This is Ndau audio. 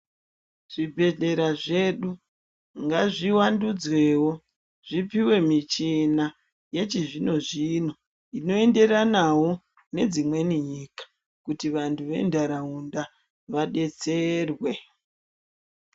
Zvibhedhlera zvedu ngazvivandudzwewo zvipiwe michina yechizvino-zvino inoenderanawo nedzimweni nyika kuti vantu ventaraunda vadetserwe.